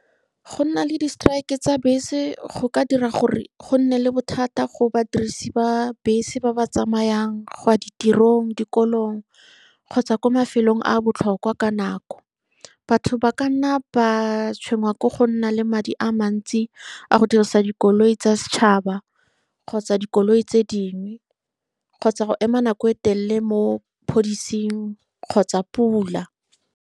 Go nna le di-strike tsa bese go ka dira gore go nne le bothata go badirisi ba bese ba ba tsamayang go ya ditirong, dikolong, kgotsa kwa mafelong a a botlhokwa ka nako. Batho ba ka nna ba tshwenngwa ke go nna le madi a mantsi a go dirisa dikoloi tsa setšhaba kgotsa dikoloi tse dingwe, kgotsa go ema nako e telele mo kgotsa pula.